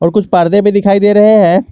कुछ पर्दे भी दिखाई दे रहे हैं।